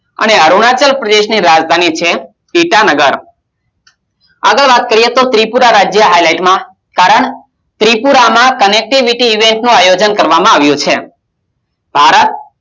અને અરુણાચલ પ્રદેશની રાજધાની છે ટ્વિટાનગર આગળ વાત કરીએ તો ત્રિપુરારાજ્ય highlight માં કારણ ત્રિપુરા માં connectivity નું આયોજન કરવામાં આવ્યું છે ભારત